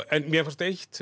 en mér fannst eitt